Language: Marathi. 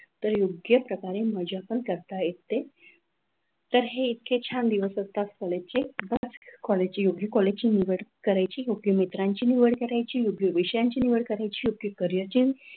तर योग्य प्रकारे माझ्या पण करता येते तर हे इतके छान दिवस असतात कॉलेजचे, योग्य कॉलेजची निवड करायची, योग्य मित्रांची निवड करायची, योग्य विषयांची निवड करायची, तर योग्य प्रकारे मज्जा पन करता येते.